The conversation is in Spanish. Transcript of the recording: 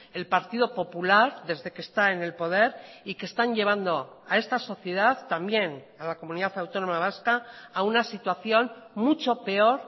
el partido popular desde que está en el poder y que están llevando a esta sociedad también a la comunidad autónoma vasca a una situación mucho peor